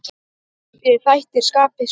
Þessir þættir skapi störf.